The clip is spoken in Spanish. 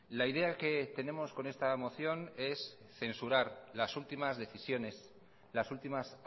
la idea que tenemos con esta moción es censurar las últimas decisiones las últimas